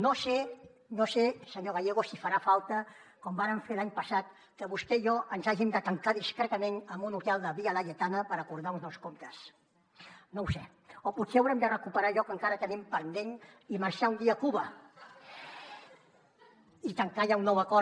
no sé senyor gallego si farà falta com vàrem fer l’any passat que vostè i jo ens hàgim de tancar discretament en un hotel de via laietana per acordar uns nous comptes no ho sé o potser haurem de recuperar allò que encara tenim pendent i marxar un dia a cuba i tancar allà un nou acord